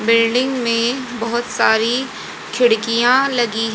building में बहोत सारी खिड़कियां लगी--